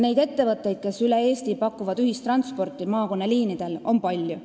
Neid ettevõtteid, kes üle Eesti maakonnaliinidel ühistransporditeenust pakuvad, on palju.